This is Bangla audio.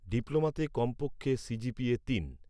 ডিপ্লোমাতে কমপক্ষে সিজিপিএ তিন